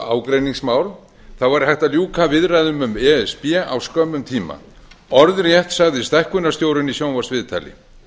ágreiningsmál væri hægt að ljúka viðræðum um e s b á skömmum tíma orðrétt sagði stækkunarstjórinn í sjónvarpsviðtali